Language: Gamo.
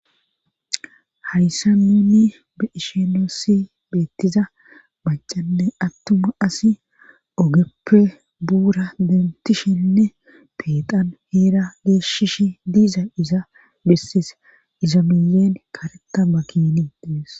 hayssa nunni beishenoossi beettiza macanne attuma asi ogeppe buura dentishenne peeqan heera geeshshish diiza iza bessise iza miyeen karetama kinii dees